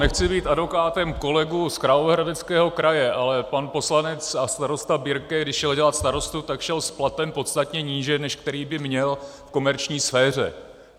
Nechci být advokátem kolegů z Královéhradeckého kraje, ale pan poslanec a starosta Birke, když šel dělat starostu, tak šel s platem podstatně níže, než který by měl v komerční sféře.